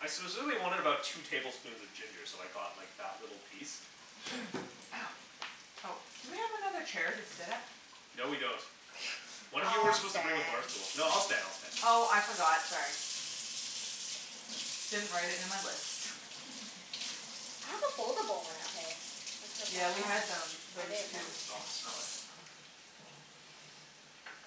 I specifically wanted about two tablespoons of ginger, so I got like that little piece. Ow. Oh, do we have another chair to sit at? No, we don't. One of you were I'll supposed to bring a bar stand. stool. No, I'll stand. I'll stand. Oh, I forgot. Sorry. Didn't write it in my list. I have a foldable one at home. I could Yeah, have we had brought that. them, I those didn't too. know. Oh, smell that.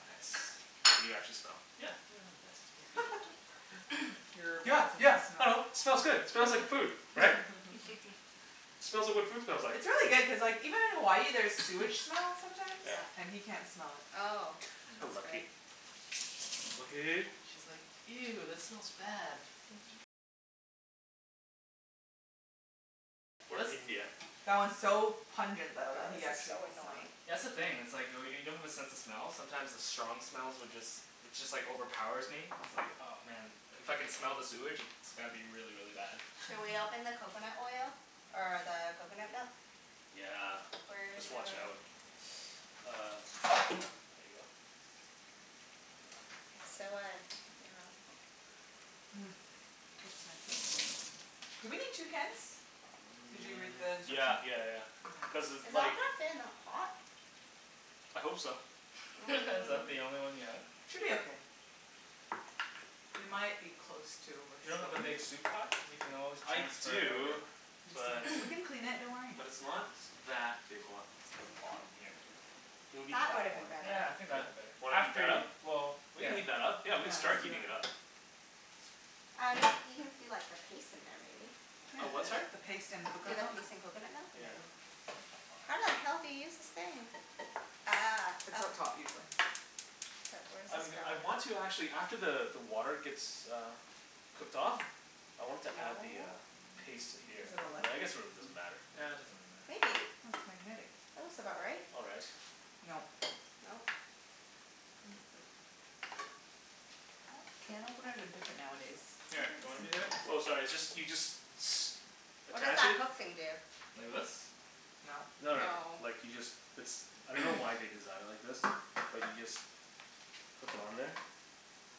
Nice. Can you actually smell? Yeah. Yeah, yeah, yeah, it Nice. smells good. Your Yeah, bad sense yeah. of I smell. know. Smells good. Smells like food, right? Smells like what food smells like. It's really good cuz like, even in Hawaii there's sewage smell sometimes, Yeah. Yeah. and he can't smell it. Oh. I know. That's okay. Lucky. Lucky. She's like, "Ew, that smells bad." Or India. That one's so Oh pungent though that god, he this is actually so can smell annoying. it. That's the thing, it's like oh y- when you don't have a sense of smell sometimes the strong smells would just it just like overpowers me. It's like, oh man. If I can smell the sewage it's gotta be really, really bad. Shall we Mhm. open the coconut oil? Or the coconut milk? Yeah. Where's Just your watch out. Uh there you go. It's so uh, you know Hmm. Looks fancy. Do we need two cans? Did you read N- the yeah instructions? yeah yeah yeah. Okay. Cuz Is it all like gonna fit in that pot? I hope so. Is that the Mm. only one you have? Should be Yep. okay. We might be close to You don't have a overspilling. big soup pot? Cuz we can always I transfer it over. do, He just but doesn't, we can clean it. Don't worry. but it's not that big, hold on, it's on the bottom here. It'll be That would've that been one. better. Yeah, I think that'd Yeah. be better. Wanna heat After that y- up? well, We can yeah. heat that up. Yeah, Yeah, we can let's start do heating it that. up. Um y- you can do like a paste in there, maybe? Yeah. A what, sorry? The paste and Do coconut the milk. paste in coconut milk and Yeah. then How the hell do you use this thing? Ah, It's oh. up top, usually. But where does I'm g- this I go? want to actually, after the the water gets uh cooked off, Hmm. I wanted to Hmm, add the uh no. paste to here. But I guess it really doesn't matter. Yeah, it doesn't really matter. Maybe. Oh, it's magnetic. That looks about right. All right. Nope. Nope. I think it's like Oh, can openers are different nowadays. Where Here, are the you want me to simple do it? ones? Oh sorry, it's just, you just s- What does attach that it hook thing do? Like this? Nope. No no no, No. like you just, it's, I don't know why they designed it like this. But you just hook it on there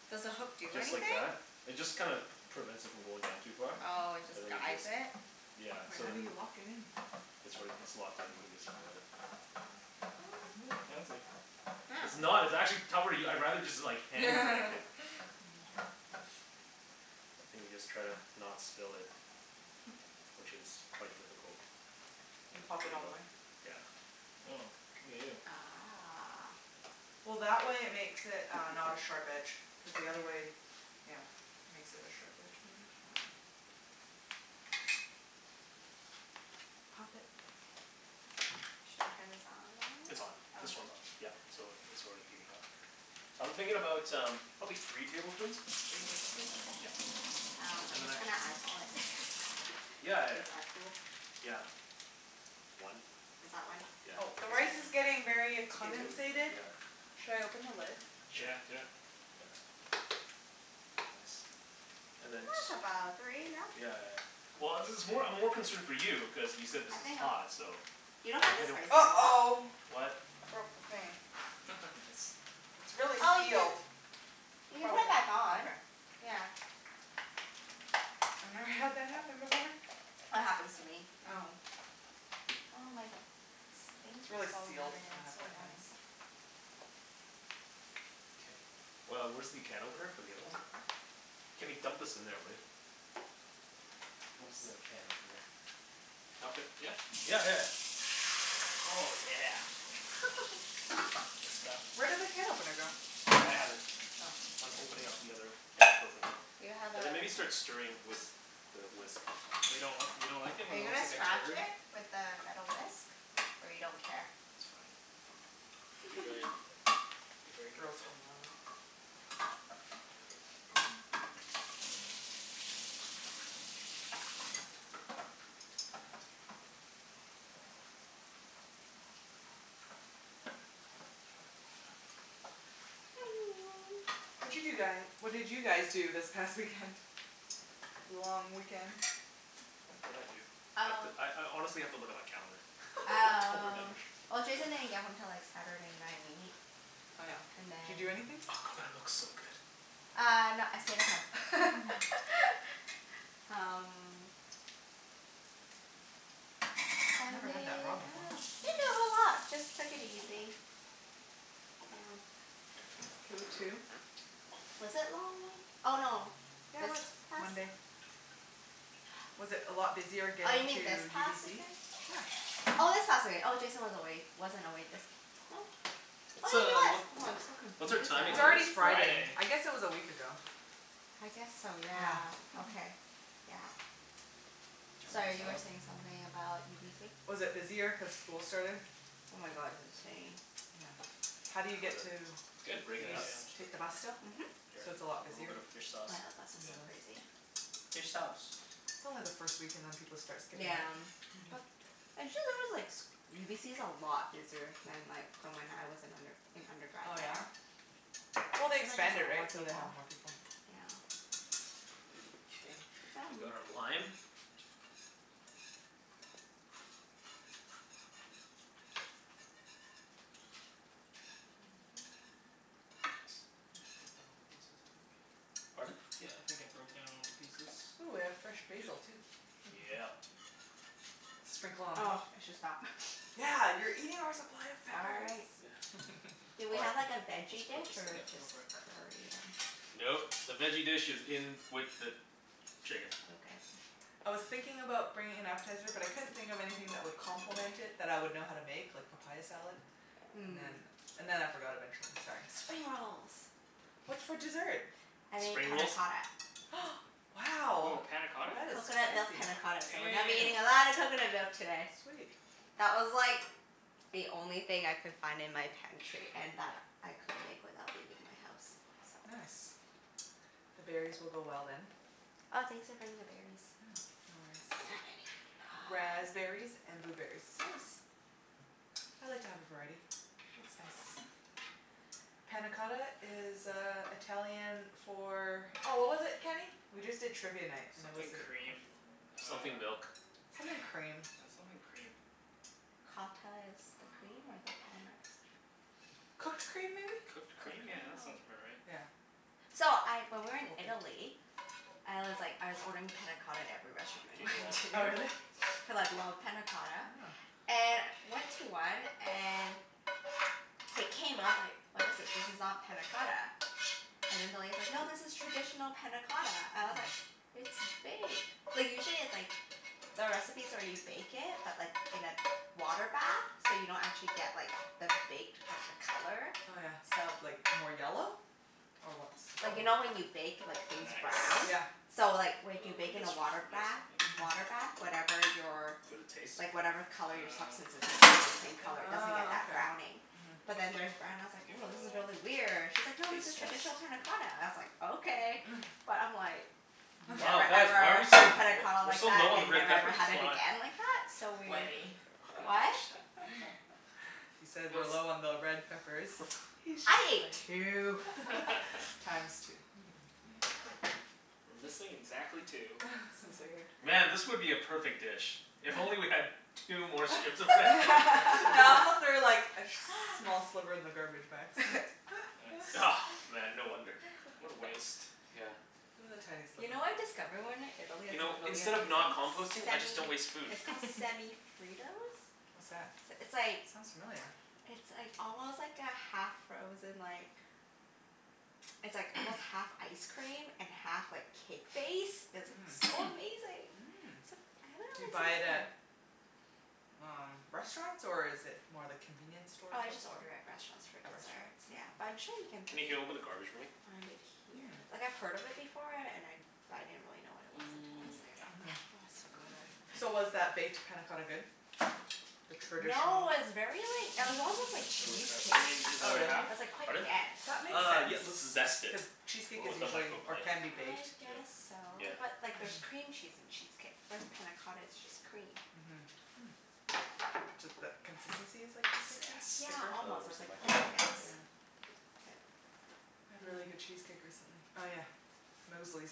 Does the hook do just like anything? that. It just kinda prevents it from going down too far. Oh, it just And then you guides just it? Yeah. Wait, So how do then you lock it in? It's like, it's locked in. You can just do it. What? Oh, fancy. It's Oh. not. It's actually cover- I'd rather just hand crank it. Mhm. And you just try to not spill it. Which is quite difficult. You Yeah, pop there it you all the go. way? Yeah. Oh. Look at you. Ah. Well, that way it makes it uh not a sharp edge. Cuz the Yeah. other way, yeah, makes it a sharp edge maybe? I dunno. Pop it. Shall we turn this on? It's on. This one's Okay. on. Yeah. So it's already heating up. So I'm thinking about um probably three tablespoons. Three tablespoons? Yeah. Okay. Um, I'm just gonna eyeball it. Yeah yeah Is yeah. that cool? Yeah. One. Is that one? K. Yeah, Oh, the rice that's is a good one. getting very a Two. Two, comensated. yeah. Should I open the lid? Sure. Yeah, do it. Yeah. Nice. And And then that's t- about three, no? Yeah yeah yeah. Well, this is more, I'm more concerned for you cuz you said this I think is I'm hot, so You Yeah, don't find I this don't spicy at all? uh-oh. What? I broke the thing. Nice. It's really Oh, you sealed. can you I can probably put it can, back on. okay. Yeah. I've never had that happen before. That happens to me at Oh. home. Oh my, this thing It's keeps really falling out sealed. again. And I It's have so wet hands. annoying. K. Well, where's the can opener for the other one? Kenny, dump this in there, will ya? Where's the Whoops. can opener? Dump it, yeah? Yeah yeah yeah. Oh yeah. That's the stuff. Where did the can opener go? I have it. Oh. I'm opening up the other can of coconut milk. Do you have a And then maybe start stirring with the whisk. But you don't, you don't like it Are when it you looks gonna like a scratch turd? it with the metal whisk? Or you don't care? It's fine. Be very, be very Girls careful. can Watcha do guy, what did you guys do this past weekend? Long weekend? What did I do? I have to, Oh I I honestly have to look at my calendar. I don't Um, remember. well Jason didn't get home til like Saturday night Oh yeah. and Did you do then Oh, anything? Oh, that coconut milk's looks so so good. good. Uh no, I stayed at home. Um Never had that Sunday raw I before. dunno. Didn't do a whole lot. Just took it easy. Yeah. That's cool too. Was it long wee- oh no, Yeah, it this was. past Monday. Was it a lot busier Oh, you getting to mean this past UBC? weekend? Yeah. Oh, this past wee- oh, Jason was away, wasn't away this, oh Oh What's yeah, he a, was. what, Oh, I'm so what's our confused now. timing It's It already is like? Friday. Friday. I guess it was a week ago. I guess so, yeah. Yeah. Okay. Yeah. Turn Sorry, this you were off. saying something about UBC? Was it busier cuz school started? Oh my god, it's insane. Yeah. How do you Was get it, to, It's did good. it break Yeah, it you st- yeah, up? yeah, I'm just take the breaking it bus up. still? Mhm. Oh Here, So yeah, it's a lot a little busier? bit of fish sauce. the bus On is so Yep. the bus. crazy. Fish sauce. It's only the first week and then people start skipping Yeah. out. But, actually there was like s- UBC's a lot busier than like from when I was in under- an undergrad Oh, yeah? there. Well, they Seems like there's a expanded, lot right? more So they people. have more people. Okay. We've got our lime. Yeah. Nice. I think I broke down all the pieces, I think. Pardon? Yeah, I think I broke down all the pieces. Ooh, we have fresh Should be good. basil, too. Yeah. Sprinkle on Oh, top. I should stop. Yeah, you're eating our supply of peppers. Sorry. Yeah. Do we All right, have like a let's veggie put dish Yep. this in. or Go just for it. curry and Nope, the veggie dish is in with the chicken. Okay. I was thinking about bringing an appetizer, but I couldn't think of anything that would complement it that I would know how to make, like papaya salad. And then Mm. and then I forgot eventually. Sorry. Spring rolls. What's for dessert? I made Spring panna rolls? cotta. Hm. Wow. Woah, panna cotta? That is Coconut milk fancy. panna cotta, so we're gonna be Damn. eating a lot of coconut milk today. Sweet. That was like the only thing I could find in my pantry and that I could make without leaving my house, so Nice. The berries will go well, then. Oh, thanks for bringing the berries. Yeah. No worries. I didn't have any. Ah. Raspberries and blueberries. Nice. I like to have a variety. Looks nice. Panna cotta is uh Italian for Oh, what was it, Kenny? We just did Trivia Night and it was Something a quest- cream uh Something milk. Something cream. Yeah, something cream. Cotta is the cream, or the Um panna is? Cooked cream, maybe? Cooked Cooked cream? Yeah, cream? that Oh. sounds about right. Yeah. So, I, when we Or were in baked. Italy I was like, I was ordering panna cotta at every restaurant we went Oh, to. really? Cuz I love Yeah. panna cotta. And went to one and it came out, I was like, "What is this? This is not panna cotta." And then the lady's like, "No, this is traditional panna cotta." I was like, Mm. "It's baked." Like usually it's like the recipes where you bake it, but like in a water bath. So you don't actually get like the baked, but the color. Oh yeah, So like, more yellow? Or what's the color? Like you know when you bake like things brown? Yeah. Nice. So like w- if Well, you we bake in can a switch water to this, bath I think. Mhm. water bath, whatever your Would it taste? like whatever color your substance Um is it stays the same Yeah. color. It doesn't get Ah, that okay. browning. Mhm. But then theirs brown and I was I'll like, give it "Woah, a this is little really weird." She's like, "No, this is taste test. Smells, traditional panna yeah. cotta." I was like, "Okay." But I'm like Wow, never, guys, why are ever we so l- had panna w- cotta we're like so that, low on the and red never, ever peppers. had What's it going on? again like that. So weird. Wenny. What? He said we're Phil's low on the red peppers. He's just I ate playing. two. Times two. We're missing exactly two. Man, this would be a perfect dish if only we had two more strips of red pepper. I also threw like a sh- small sliver in the garbage by accident. Yep. Nice. Man, no wonder. What a waste. Yeah. It was a tiny You sliver. know what I discovered when we were in Italy You that's like know, really instead of not amazing? composting, I just Semi, don't waste food. it's called Semi Fritos. What's that? S- It's like Sounds familiar. it's like almost like a half-frozen like it's like almost half ice cream and half like cake base. It's like Mmm. so amazing. Mm. Except I haven't Do really you seen buy it it at here. um restaurants, or is it more the convenience store Oh, I type just of order thing? at restaurants for At restaurants? desserts, yeah. But Oh. I'm sure you can Kenny, can you open the garbage for me? find it here. Hmm. Like, I've heard of it before and I but I didn't really know what it was until I was Mm. there. Oh, Mhm. it's so good. So was that baked panna cotta good? The No, traditional it was very like, it was almost like Throw this cheesecake. out. You need this Oh, other really? half? It was like quite Pardon? dense. That makes Uh, sense. yeah let's zest it. Cuz cheesecake is With the Woah. usually, or microblade. can be, baked. I Do it. guess so. Yeah. But like there's Mhm. cream cheese in cheesecake. Whereas panna cotta is just cream. Mhm. Hmm. Ju- th- consistency is like cheesecake then? Yeah, Zest. Thicker? Oh, almost. It where's was the like plain microblade? Here. Yeah. K. We had really good cheesecake recently. Oh yeah, Mosley's.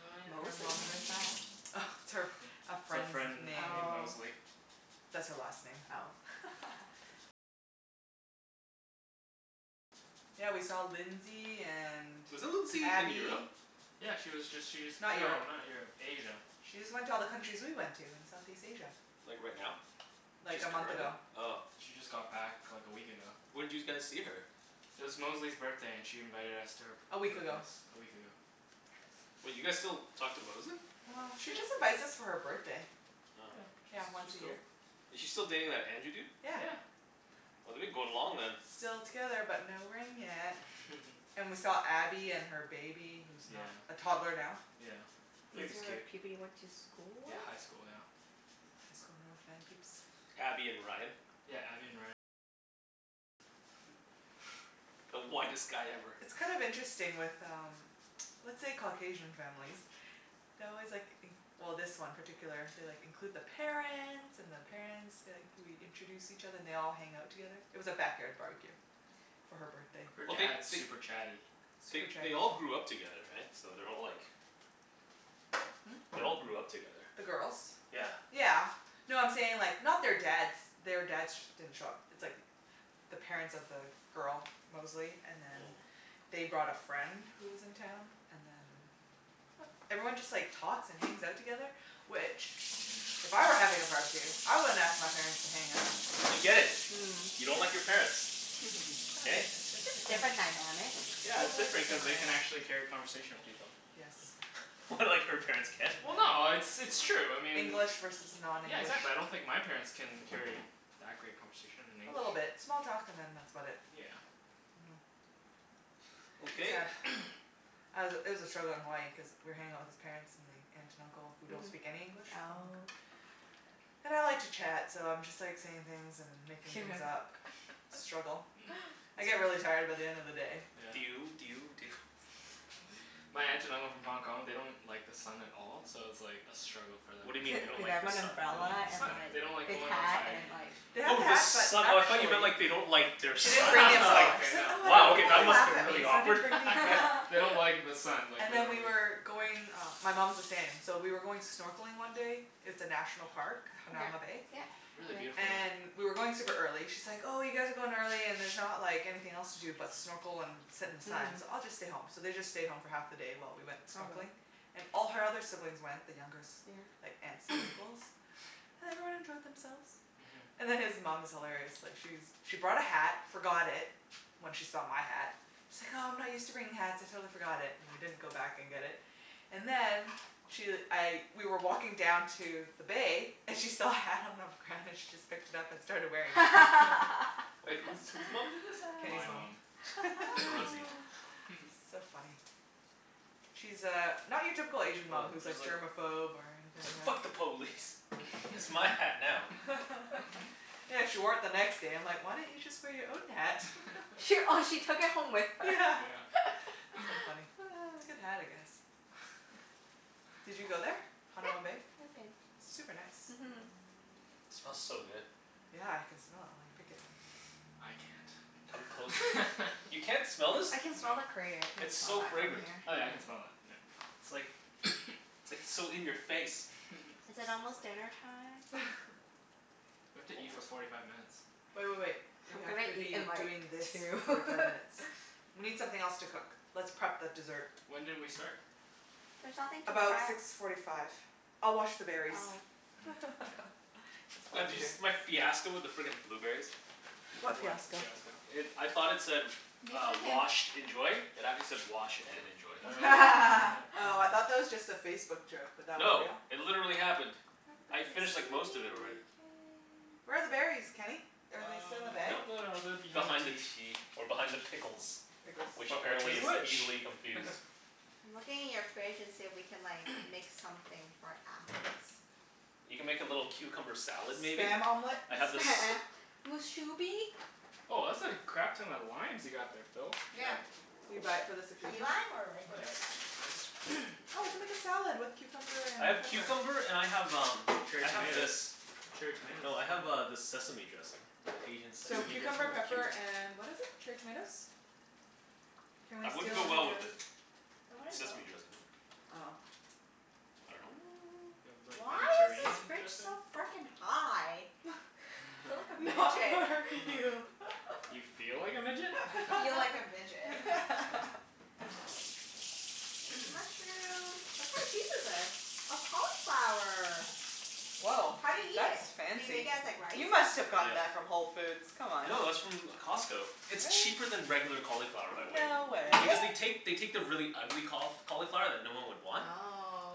Oh Her yeah. Mosley's? mom. Where's that? Oh, it's her, It's a our friend's friend name. named Oh. Mosley. Oh. Yeah, we saw Lindsay and Wasn't Lindsay in Abby. Europe? Yeah, she was just, she just, Not no, Europe. not Europe. Asia. She just went to all the countries we went to in Southeast Asia. Like right now? Like, She's a month currently? ago. Oh. She just got back like a week ago. When'd you guys see her? It was Mosley's birthday and she invited us to her A p- week her ago. place a week ago. Wait, you guys still talk to Mosley? Well, she just invites us for her birthday. Oh. Yeah, Yeah, she's once a she's year. cool. Is she still dating that Andrew dude? Yeah. Yeah. Well they've been going long then. Still together but no ring yet. And we saw Abby and her baby, who's Yeah. not a toddler now. Yeah. These Baby's are cute. people you went to school Yeah, with? high school. Yeah. High school North Van peeps. Abby and Ryan. The whitest guy ever. It's kind of interesting with um let's say Caucasian families they always like in- well, this one particular, they like, include the parents and the parents, like we introduce each other. And they all hang out together. It was a backyard barbecue. For her birthday. Her Well they dad's they super chatty. they Super chatty they all people. grew up together, right? So they're all like Hmm? They all grew up together. The girls? Yeah. Yeah. No, I'm saying like, not their dads, their dads sh- didn't show up. It's like the parents of the girl, Mosley, and then Mm. they brought a friend who was in town, and then everyone just like talks and hangs out together, which if I were having a barbecue, I wouldn't ask my parents to hang out. We get it. Mm. You don't like your Yeah. parents. Hey? it's just Just different different dynamic. Yeah, it's Totally different cuz different they can dynamic. actually carry a conversation with people. Yes. What, like her parents can't? Well no, it's it's true. I mean English versus Yeah, non-english. exactly. I don't think my parents can carry that great conversation in A English. little bit. Small talk and then that's about it. Yeah. Mhm. It's Okay. sad. I was it was a struggle in Hawaii cuz we were hanging out with his parents and the aunt and uncle, who don't Mhm. speak any English, from Hong Kong Oh. And I like to chat so I'm just like saying things and making things up. Struggle. I It's get fine. really tired by the end of the day. Yeah. Do you do you do you My aunt and uncle from Hong Kong, they don't like the sun at all so it was like a struggle for them What do you being mean in they don't Did they Hawaii. like have the an sun? They don't umbrella like the and sun. like They don't like thick going hat outside. and like They have Oh, the the hat, but sun. I thought you actually meant like they don't like their She didn't son, and bring I the was like umbrella. Okay, She's like, no. "I don't They wow, want okay, don't people to that like must've laugh been at really me, so I awkward. didn't bring the umbrella." they don't like the sun, like And then we literally. were going, uh my mom's the same, so we were going snorkeling one day It's a National Park, Yeah. Hanauma Bay. Yeah. Really Been there. beautiful, yeah. And we were going super early. She's like, "Oh, you guys are going early and there's not like anything else to do but snorkel and sit in the sun, Mhm. so I'll just stay home." So they just stayed home for half the day while we went Probably. snorkeling. And all her other siblings went, the younger Yeah. s- like aunts and uncles. And everyone enjoyed themselves. Mhm. And then his mom is hilarious. Like she's she brought a hat, forgot it when she saw my hat she's like, "Oh, I'm not used to bringing hats. I totally forgot it." And we didn't go back and get it. And then she, I, we were walking down to the bay and she saw a hat on the ground, and she just picked it up and started wearing it. Wait, whose whose mom did this? Kenny's My mom. mom. Rosie. So funny. She's uh not your typical Asian mom Well, who's she's like like germophobe or anything like "Fuck the police!" "It's my hat now." Yeah, she wore it the next day. I'm like, "Why don't you just wear your own hat?" She, oh she took it home with her? Yeah. Yeah. So funny. Good hat, I guess. Did you go there? Yeah, Hanauma Bay? I've been. Super nice. Mhm. It smells so good. Yeah, I can smell it while you pick it. I can't. Come closer. You can't smell this? I can smell No. the curry. I can't It's smell so that from fragrant. here. Oh yeah, I can Yeah? smell that. Yeah. It's like, it's like so in your face. Is it almost dinnertime? We have to eat for Almost. forty five minutes. Wait wait wait. I'm We have gonna to eat be in like doing this for two. forty five minutes. We need something else to cook. Let's prep the dessert. When did we start? There's nothing to About prep. six forty five. I'll wash the berries. Oh. Mm. Oh, yeah. That's It's all I Bah all do can you there. do. s- my fiasco with the frickin' blueberries? M- What what fiasco? fiasco? It, I thought it said Maybe uh, we can "Washed. Enjoy." It actually said, "Wash and enjoy." Oh. Oh, I thought that was just a Facebook joke, but that was No, real? it literally happened. Where are I the we berries? finished can. like most of it already. Where are the berries, Kenny? Are Uh, they still in the bag? nope, no, no, no, they're behind the Behind the tea. tea. Or behind the pickles. Pickles. Which But which is apparently is which? easily confused. I'm looking in your fridge and see if we can like make something for appies. You can make a little cucumber salad, maybe? Spam omelet? I have this Spam! Mus shubi? Woah, that's a crap ton of limes you got there, Phil. Yeah. Yeah. Did you buy it for this Key occasion? lime, or regular Nice. lime? Why Oh, we can make is a salad with cucumber and I have pepper. cucumber and I have um Cherry I have tomatoes. this. Cherry No, tomatoes I as have well. uh this sesame dressing. The Asian So sesame dressing cucumber, with pepper, cumin. and what is it? Cherry tomatoes? Can we That wouldn't go steal your well with the That wouldn't go. sesame dressing, would it? Oh. I dunno. Do you have Mm, like why is this Mediterranean fridge dressing? so frickin' high? Feel like a Not midget. You feel like a midget? I feel like a midget. There's a mushroom. What kind of cheese is this? Oh, cauliflower. Woah. How do you eat That's it? Do you make fancy. it as like rice? You must've gotten that Yeah. from Whole Foods, come on? No, that's from Costco. It's Really? cheaper than regular cauliflower by weight. No way. Because they Really? take, they take the really ugly caul- cauliflower that no one would want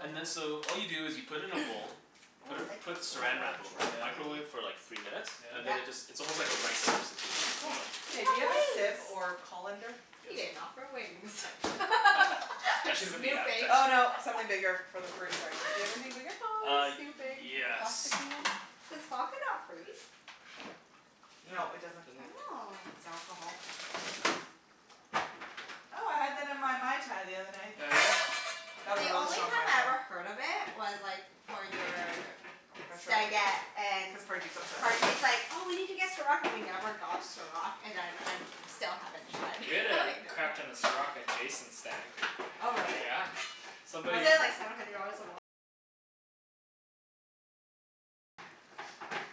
and then so all you do is you put it in a bowl Oh, put I it like this put drawer Saran Wrap over it, Yeah? microwave it for thingie. like three minutes. And Yeah. then it just, Yeah? it's almost like a rice substitute. Mm, cool. Oh. You Hey, do you have have a wings. sieve or colander? He Yes. didn't offer wings. I'm That should have been the appetizer. snooping. Oh, no, something bigger for the fruit, sorry. Do you have anything bigger? Always Uh, snooping. Like, a yes. plasticky one? Does vodka not freeze? No, No, it doesn't. doesn't. Oh. It's alcohol. Oh, I had that in my Mai Tai the other night. Oh yeah? That was The a really only strong Mai time I Tai. ever heard of it was like for your stagette and Cuz Parjeet's obsessed? Parjeet's like, "Oh, we need to get Ciroc," and we never got Ciroc. And then I'm, still haven't tried. We had a I know crap ton of Ciroc at Jason's stag. Oh really? Yeah, somebody